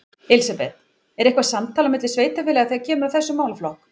Elísabet: Er eitthvað samtal á milli sveitarfélaga þegar kemur að þessum málaflokk?